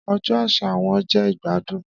Ọjọ aṣa wọn jẹ igbadun